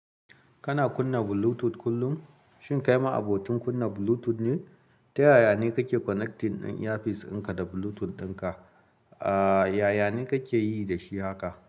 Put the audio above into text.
Kana kunna Bluetooth kullum? Shin kai ma abotin kunna Bluetooth ne? Ta yaya ne kake connecting in-earpiece ɗinka da Bluetooth ɗinka? Aaa yaya ne kake yi da shi haka?